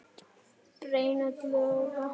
brenn öll loga